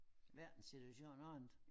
Verdensituationen ordnet